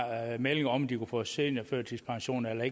melding om om de kunne få seniorførtidspension eller